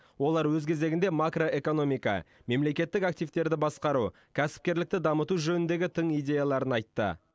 олар өз кезегінде макроэкономика мемлекеттік активтерді басқару кәсіпкерлікті дамыту жөніндегі тың идеяларын айтты